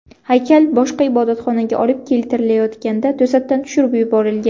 Haykal boshqa ibodatxonaga olib keltirayotganda to‘satdan tushirib yuborilgan.